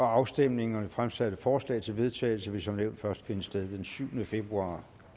afstemning om fremsatte forslag til vedtagelse vil som nævnt først finde sted den syvende februar